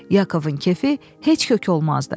Yakovun kefi heç kökü olmazdı.